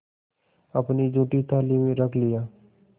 अपनी जूठी थाली में रख लिया